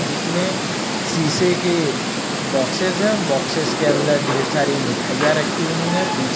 जिसमें शीशे के बॉक्सेस हैं बॉक्सेस के अंदर ढेर सारी मिठाइयां रखी हुई हैं पीछे--